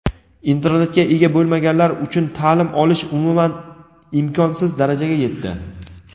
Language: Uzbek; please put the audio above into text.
Internetga ega bo‘lmaganlar uchun ta’lim olish umuman imkonsiz darajaga yetdi.